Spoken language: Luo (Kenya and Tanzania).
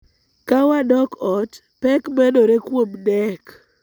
Ka wadok ot, pek medore kuom Knec